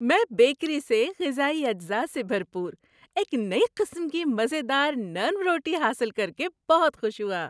میں بیکری سے غذائی اجزاء سے بھرپور ایک نئی قسم کی مزے دار نرم روٹی حاصل کر کے بہت خوش ہوا۔